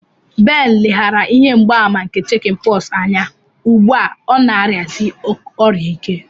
Ben leghaara ihe mgbaàmà nke Chicken pox anya, ugbu a ọ na-arịasi ọrịa ike.